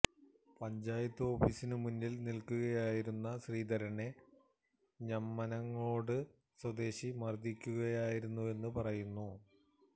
പഞ്ചായത്ത് ഓഫീസിനു മുന്നില് നില്ക്കുകയായിരുന്ന ശ്രീധരനെ ഞമനേങ്ങാട് സ്വദേശി മര്ദിക്കുകയായിരുന്നുവെന്ന് പറയുന്നു